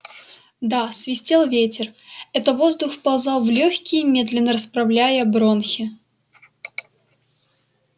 да свистел ветер это воздух вползал в лёгкие медленно расправляя бронхи